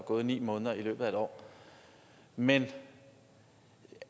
gået ni måneder i løbet af et år men